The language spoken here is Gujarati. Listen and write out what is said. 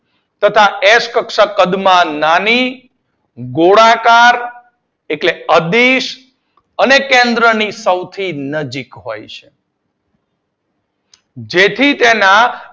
તથા એક્ષ કક્ષક કદમાં નાની ગોળાકાર એટલ અદીશ અને કેન્દ્રની સૌથી નજીક હોય છે જેથી તેના